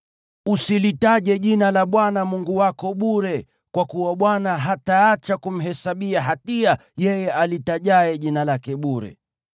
Usilitaje bure jina la Bwana Mungu wako, kwa kuwa Bwana hataacha kumhesabia hatia yeye alitajaye jina lake bure.